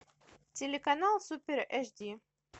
телеканал супер эйч ди